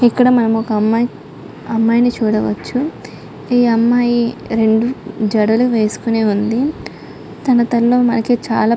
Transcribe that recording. ఇక్కడ మనం ఒక అమ్మాయి అమ్మాయిని చూడవచ్చు. ఈ అమ్మాయి రెండు జాడలు వేసుకొని ఉంది. తన తలో మనకి చాల--